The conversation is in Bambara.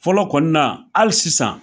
Fɔlɔ kɔnina na hali sisan.